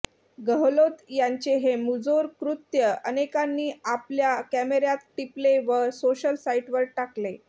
गहलोत यांचे हे मुजोर कृ्त्य अनेकांनी आपल्या कॅमेऱ्यात टिपले व सोशल साईटवर टाकले